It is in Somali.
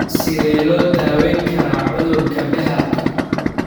Sidee loo daweyn karaa cudurka Behrka ?